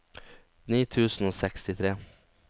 ni tusen og sekstitre